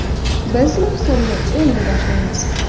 Biz mavsumni endi boshlayapmiz.